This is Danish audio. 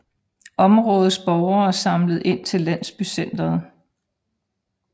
Områdets borgere samlede ind til landsbycenteret